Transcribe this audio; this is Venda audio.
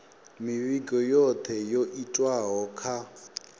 mivhigo yothe yo itwaho kha